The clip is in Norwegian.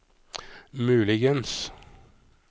muligens